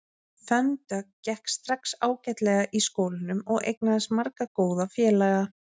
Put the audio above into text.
Fönn Dögg gekk strax ágætlega í skólanum og eignaðist marga góða félaga.